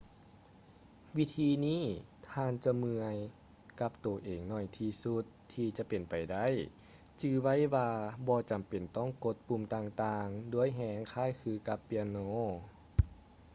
ວິທີນີ້ ທ່ານຈະເມື່ອຍກັບໂຕເອງໜ້ອຍທີ່ສຸດທີ່ຈະເປັນໄປໄດ້ ຈື່ໄວ້ວ່າບໍ່ຈຳເປັນຕ້ອງກົດປຸ່ມຕ່າງໆດ້ວຍແຮງຄ້າຍຄືກັບເປຍໂນ